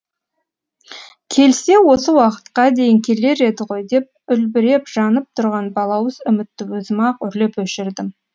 келсе осы уақытқа дейін келер еді ғой деп үлбіреп жанып тұрған балауыз үмітті өзім ақ үрлеп өшірдім